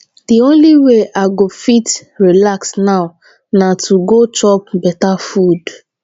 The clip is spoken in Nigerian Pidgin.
the only way i go fit relax now na to go chop beta food